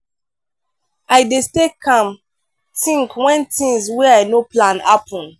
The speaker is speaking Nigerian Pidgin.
i dey stay calm tink wen tins wey i no plan happen.